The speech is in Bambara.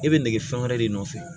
E bɛ nege fɛn wɛrɛ de nɔfɛ